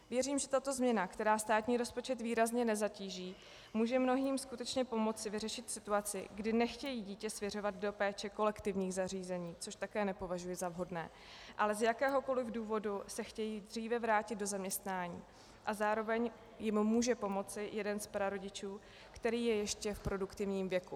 Věřím, že tato změna, která státní rozpočet výrazně nezatíží, může mnohým skutečně pomoct vyřešit situaci, kdy nechtějí dítě svěřovat do péče kolektivních zařízení, což také nepovažuji za vhodné, ale z jakéhokoli důvodu se chtějí dříve vrátit do zaměstnání, a zároveň jim může pomoci jeden z prarodičů, který je ještě v produktivním věku.